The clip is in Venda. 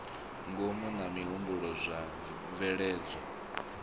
ngomu na mihumbulo zwa tshibveledzwa